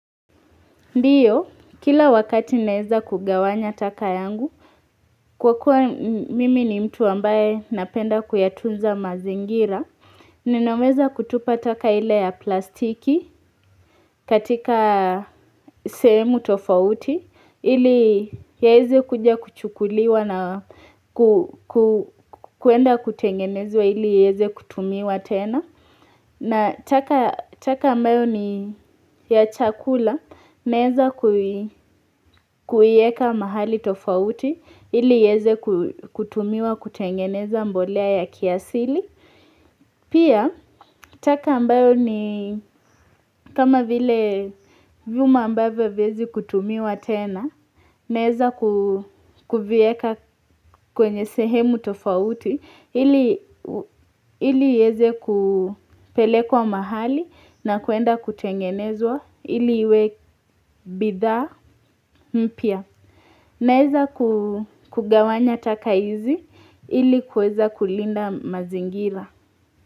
Ndiyo, kila wakati naeza kugawanya taka yangu Kwa kuwa mimi ni mtu ambaye napenda kuyatunza mazingira Ninaweza kutupa taka ile ya plastiki katika semu tofauti Ili iweze kuja kuchukuliwa na kuenda kutengenezwa ili iweze kutumiwa tena na taka ambayo ni ya chakula naeza kuiweka mahali tofauti ili iweze kutumiwa kutengeneza mbolea ya kiasili. Pia, taka ambayo ni kama vile vyuma ambavyo haviwezi kutumiwa tena, naeza kuviweka kwenye sehemu tofauti, ili iweze kupelekwa mahali na kuenda kutengenezwa, ili we bidhaa mpya. Naeza kugawanya taka hizi, ili kuweza kulinda mazingira.